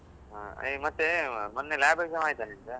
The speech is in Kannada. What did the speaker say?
ಹ, ಮತ್ತೆ ಮೊನ್ನೆ lab exam ಆಯ್ತಾ ನಿಂದು